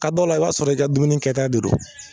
Ka dɔ la i b'a sɔrɔ i ka dumuni kɛta de don.